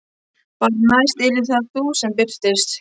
Bara að næst yrðir það þú sem birtist.